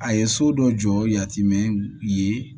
A ye so dɔ jɔ yatimɛ ye